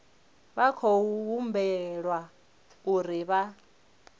vha khou humbelwa uri vha